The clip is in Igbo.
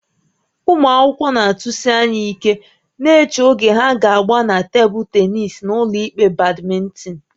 Ụmụ akwụkwọ na-atụsi anya ike na-eche oge ha ga-agba na tebụl tennis na ụlọikpe badminton